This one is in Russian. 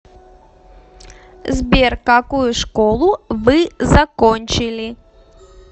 сбер какую школу вы закончили